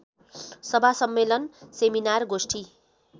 सभा सम्मेलन सेमिनार गोष्ठि